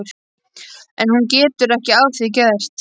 En hún getur ekki að því gert.